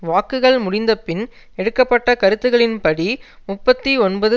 வாக்குகள் முடிந்த பின் எடுக்க பட்ட கருத்துக்களின் படி முப்பத்தி ஒன்பது